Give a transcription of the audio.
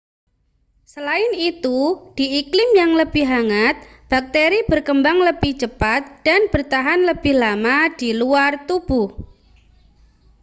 selain itu di iklim yang lebih hangat bakteri berkembang lebih cepat dan bertahan lebih lama di luar tubuh